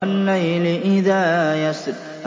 وَاللَّيْلِ إِذَا يَسْرِ